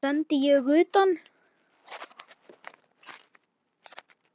Hann sendi ég utan.